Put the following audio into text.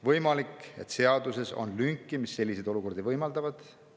Võimalik, et seaduses on lünki, mis selliseid olukordi võimaldavad.